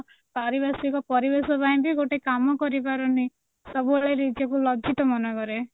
ପରିବାର୍ଷିକ ପରିବେଶ ପାଇଁ ବି ଗୋଟେ କାମ କରିପାରୁନି ସବୁବେଳେ ନିଜକୁ ଲଜ୍ଜିତ ମନେକରେ